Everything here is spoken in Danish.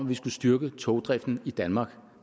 vi skulle styrke togdriften i danmark